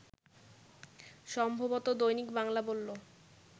সম্ভবত দৈনিক বাংলা বলল